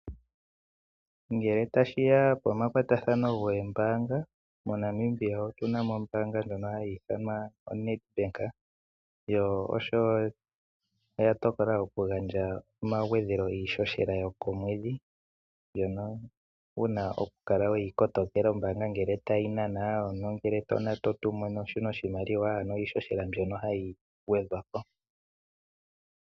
Ngele tashiya pomakwatathano geembaanga Namibia otuna mo ombaanga ndjono hayi ithanwa Nedbank, yo oshowo oya tokola okugandja omagwedhelo giishoshela yokomwedhi mbyono wuna oku kala weyi kotokela ombaanga ngele tayi nana, ongele to nana nenge to tumine omuntu oshimaliwa ano iishoshela mbyono hayi gwedhwa ko.